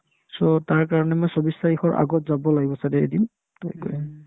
so, তাৰ কাৰণে মই চৌবিশ তাৰিখৰ আগত যাব লাগিব ছাগে এদিন